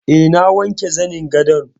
E, na wanke zanin gadon.